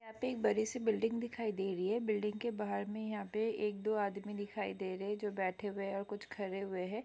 यहाँ पे बडी सी बिल्डिंग दिखाई दे रही है बिल्डिंग के बाहर में यहाँ पे एक दो आदमी दिखाई दे रहे है जो बैठे हुए और कुछ खड़े हुए है।